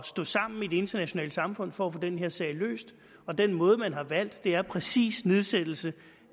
stå sammen i det internationale samfund for at få den her sag løst og den måde man har valgt er præcis nedsættelse